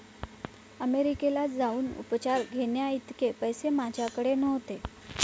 अमेरिकेला जाऊन उपचार घेण्याइतके पैसे माझ्याकडे नव्हते.